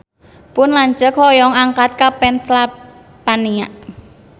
Pun lanceuk hoyong angkat ka Pennsylvania